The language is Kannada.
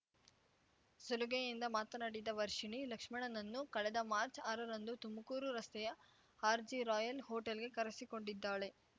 ಸಲುಗೆಯಿಂದ ಮಾತನಾಡಿದ ವರ್ಷಿಣಿ ಲಕ್ಷ್ಮಣನನ್ನು ಕಳೆದ ಮಾರ್ಚ್ ಆರ ರಂದು ತುಮಕೂರು ರಸ್ತೆಯ ಆರ್ಜಿ ರಾಯಲ್ ಹೊಟೇಲ್‌ಗೆ ಕರೆಸಿಕೊಂಡಿದ್ದಾಳೆ